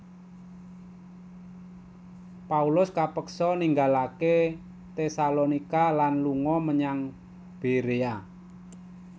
Paulus kepeksa ninggalaké Tesalonika lan lunga menyang Berea